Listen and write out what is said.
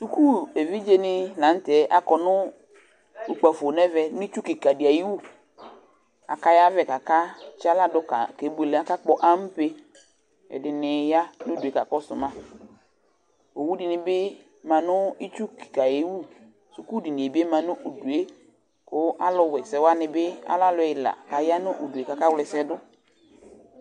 Suku evidzenɩ la nʋ tɛ akɔ nʋ ukpǝfo nʋ ɛvɛ nʋ itsu kɩka dɩ ayʋ iwu Akayavɛ kʋ akatsɩ aɣla dʋ kebuele, akakpɔ ampe Ɛdɩnɩ ya nʋ udu yɛ kakɔsʋ ma Owu dɩnɩ bɩ ma nʋ itsu kɩka yɛ wu Sukudini yɛ bɩ ma nʋ udu yɛ kʋ alʋwa ɛsɛ wanɩ bɩ, alɛ alʋ ɛla kʋ aya nʋ udu yɛ kʋ akawla ɛsɛ dʋ